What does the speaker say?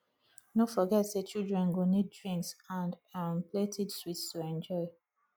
no forget say children go need drinks and um plenty sweets to enjoy